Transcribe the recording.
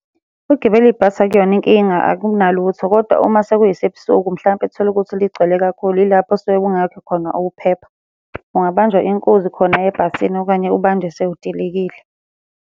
Ukugibela ibhasi akuyona inkinga akunalutho, kodwa uma sekuyisebusuku mhlampe uthole ukuthi ligcwele kakhulu, ilapho osuke kungekho khona ukuphepha. Ungabanjwa inkunzi khona ebhasini okanye ubanjwe sewudilikile.